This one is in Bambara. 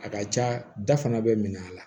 A ka ca da fana bɛ minɛ a la